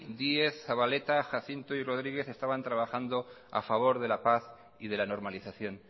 díez zabaleta jacinto y rodríguez estaban trabajando a favor de la paz y de la normalización